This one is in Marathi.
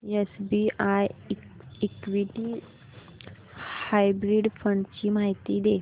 एसबीआय इक्विटी हायब्रिड फंड ची माहिती दे